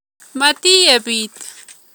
Matiyeb it